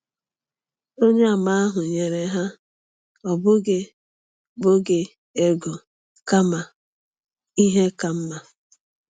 Onyeàmà ahụ nyere ha, ọ bụghị bụghị ego, kama ihe ka mma.